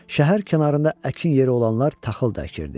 Şəhər kənarında əkin yeri olanlar taxıl da əkirdi.